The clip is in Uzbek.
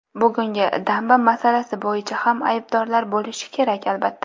Bugungi damba masalasi bo‘yicha ham aybdorlar bo‘lishi kerak, albatta.